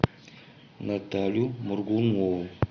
наталью моргунову